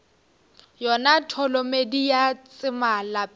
yona tholomedi ya tsema lapeng